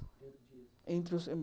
Entre o